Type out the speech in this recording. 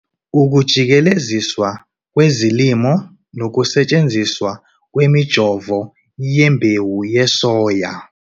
Ukujikeleziswa kwezilimo nokusetshenziswa kwemijovo yembewu yesoya